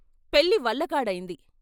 పెళ్ళి వల్ల కాడైంది.